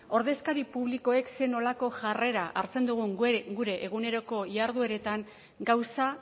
ordezkari publikoek zer nolako jarrera hartzen dugun gure eguneroko jardueretan gauza